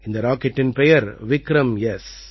இந்த ராக்கெட்டின் பெயர் விக்ரம்எஸ்